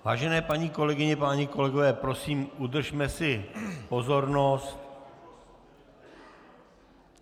Vážené paní kolegyně, páni kolegové, prosím, udržme si pozornost.